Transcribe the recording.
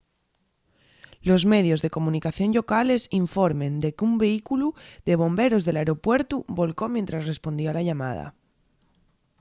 los medios de comunicación llocales informen de qu’un vehículu de bomberos del aeropuertu volcó mientres respondía a la llamada